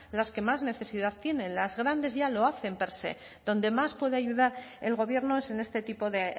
las que más necesidad tienen las grandes ya lo hacen per se donde más puede ayudar el gobierno es en este tipo de